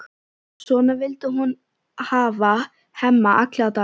Svona vildi hún hafa Hemma alla daga.